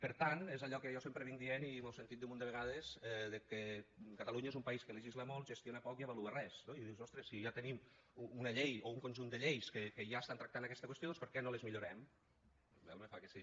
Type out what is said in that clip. per tant és allò que jo sempre dic i m’ho heu sentit dir un munt de vegades que catalunya és un país que legisla molt gestiona poc i avalua res no i dius ostres si ja tenim una llei o un conjunt de lleis que ja estan tractant aquesta qüestió doncs per què no les millorem em fa que sí